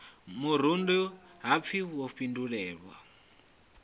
murundu ha pfi wo fhindulela